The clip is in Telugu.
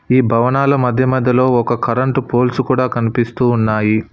ఈ భవనాలు మధ్య మధ్యలో ఒక కరెంటు పోల్స్ కూడా కనిపిస్తూ ఉన్నాయి.